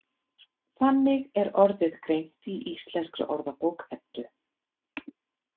Þannig er orðið greint í Íslenskri orðabók Eddu.